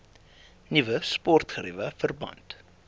nuwe sportgeriewe verband